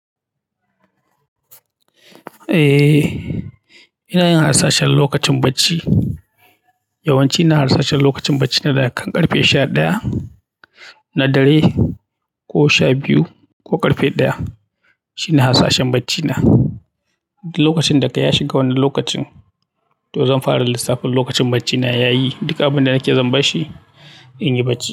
Eh, ina yin hasashen lokacin bacci. Yawan ci ina hasashen lokacin bacci na daga ƙarfe sha ɗaya na dare ko sha biyu ko ƙarfe ɗaya. Shine hasashen bacci na lokacin daga ya shiga wani lokacin, to zan fara lissafin lokacin bacci na ya yi. Duka abin da nake zan bashi in yi bacci.